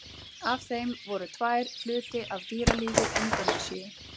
Af þeim voru tvær hluti af dýralífi Indónesíu.